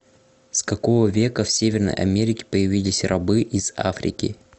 с какого века в северной америке появились рабы из африки